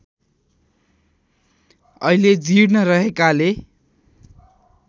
अहिले जीर्ण रहेकाले